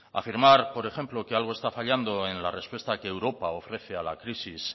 afirmar por ejemplo que algo está fallando en la respuesta que europa ofrece a la crisis